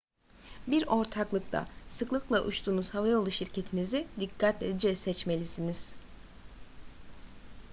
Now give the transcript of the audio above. bir ortaklıkta sıklıkla uçtuğunuz havayolu şirketinizi dikkatlice seçmelisiniz